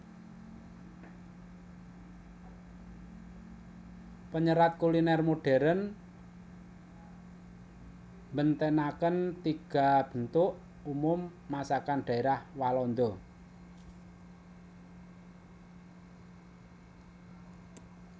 Penyerat kuliner modern mbentenaken tiga bentuk umum masakan daerah Walanda